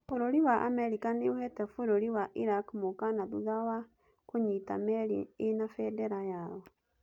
Bũrũri wa Amerika nĩ ũheete Bũrũri wa Iraq mũkaana thutha wa kũnyiita meri ĩna bendera yao